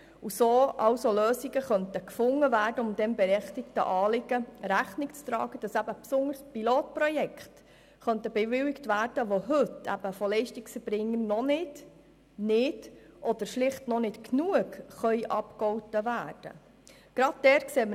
So könnten Lösungen gefunden werden, um diesem berechtigten Anliegen Rechnung zu tragen, indem insbesondere Pilotprojekte bewilligt werden könnten, die heute von Leistungserbringern nicht oder noch nicht ausreichend abgegolten werden können.